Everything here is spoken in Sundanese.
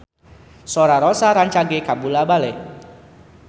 Sora Rossa rancage kabula-bale